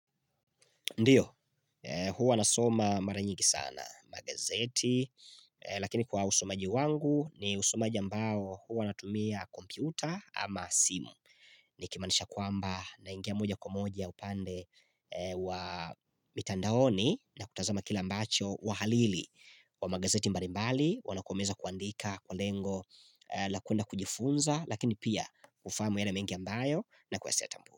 Ndio, huwa nasoma mara nyigi sana, magazeti, lakini kwa usomaji wangu, ni usomaji ambao huwa natumia kompyuta ama simu. Nikimanisha kwamba naingia moja kwa moja, upande wa mitandaoni na kutazama kila mbacho wahalili, wa magazeti mbarimbali, wanakomeza kuandika kwa lengo, la kwenda kujifunza, lakini pia, ufamu yale mengi ambayo na kuwesea tambua.